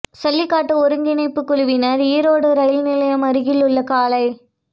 சல்லிக்கட்டு ஒருங்கிணைப்புக் குழுவினர் ஈரோடு இரயில் நிலையம் அருகில் உள்ள காளை